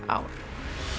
ár